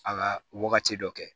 A ka wagati dɔ kɛ